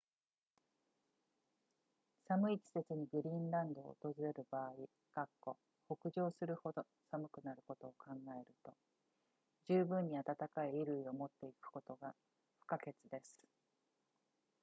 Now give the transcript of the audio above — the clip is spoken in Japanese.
寒い季節にグリーンランドを訪れる場合北上するほど寒くなることを考えると十分に暖かい衣類を持っていくことが不可欠です